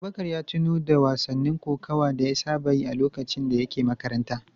Abubakar ya tuno da wasannin kokawa da ya saba yi a lokacin da yake makaranta.